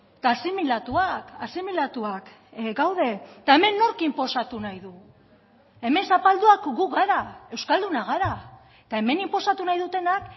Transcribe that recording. eta asimilatuak asimilatuak gaude eta hemen nork inposatu nahi du hemen zapalduak gu gara euskaldunak gara eta hemen inposatu nahi dutenak